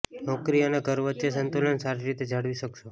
નોકરી અને ઘર વચ્ચે સંતુલન સારી રીતે જાળવી શકશો